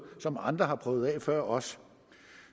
som andre har prøvet af før os